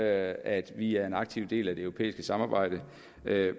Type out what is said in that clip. at vi er en aktiv del af det europæiske samarbejde